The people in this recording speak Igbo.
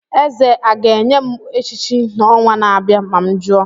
Eze a ga-enye m echichi n'ọnwa na-abịa ma m jụọ?